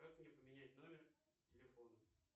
как мне поменять номер телефона